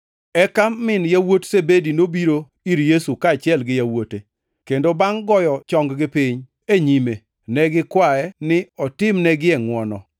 Eka min yawuot Zebedi nobiro ir Yesu kaachiel gi yawuote, kendo bangʼ goyo chong-gi piny e nyime, ne gikwaye ni otimnegie ngʼwono.